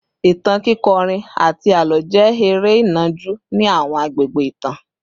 Ìtàn, kíkọrin, àti àlọ́ jẹ́ eré ìnàjú ní àwọn àgbègbè ìtàn